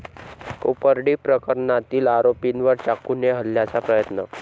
कोपर्डी प्रकरणातील आरोपींवर चाकूने हल्ल्याचा प्रयत्न